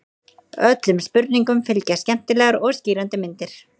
Öllum spurningum fylgja skemmtilegar og skýrandi myndir.